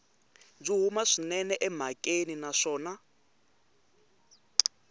byi huma swinene emhakeni naswona